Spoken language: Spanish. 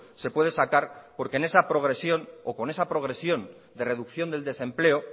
se puede sacar porque en esa progresión o con esa progresión de reducción del desempleo